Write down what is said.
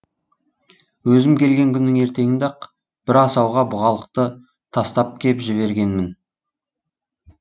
өзім келген күннің ертеңінде ақ бір асауға бұғалықты тастап кеп жібергенмін